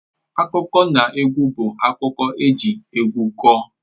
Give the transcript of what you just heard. Akụkọnaegwu bụ akụkọ eji egwu kọọ